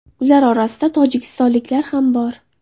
Ular orasida tojikistonliklar ham bor.